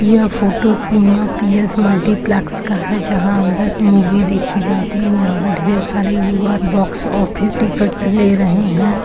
यह photo P S. Multiplex का है जहाँ अंदर मूवी देखी जाती है यहाँ ढेर सारी युवा बॉक्स ऑफिस टिकट ले रहे हैं।